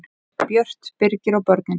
Björt, Birgir og börnin.